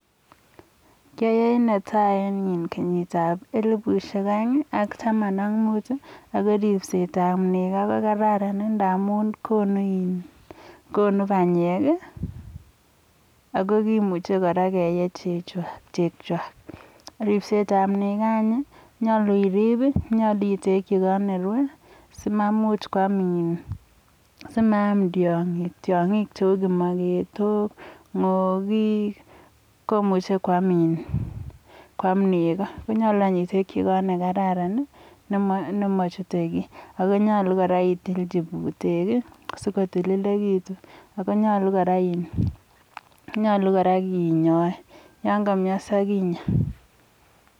kenyit ap eliput aeng taman ak mut ako ripset ap nego kokararan ndamun konu panyek ako muchi kora kelu chego. Ripset ap nego koyache irip itekchi kot nerutos simaam tiangik cheu kimaketok komache anyun itekchi kot nekararan nemachute kiy ako yache itilchi putek sokotililitu nyalu kora inya.